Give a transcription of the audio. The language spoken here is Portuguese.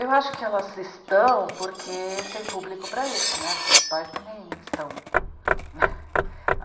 Eu acho que elas estão porque tem público para isso, né porque os pais também estão.